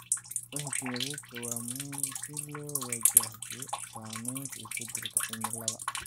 Uhdhigga dadka waa muhiim si loo wajahdo saamaynta isbedelka cimilada.